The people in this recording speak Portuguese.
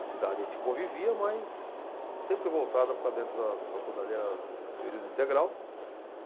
A cidade a gente convivia, mas sempre voltava para dentro da faculdade, era período integral.